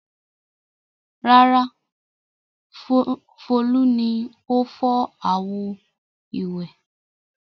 Rárá, Folú ni ó fọ́ àwo-ìwẹ̀.